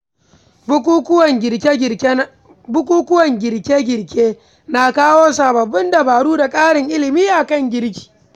Bukukuwan girke-girke na kawo sababbin dabaru da ƙarin ilimi a kan girki.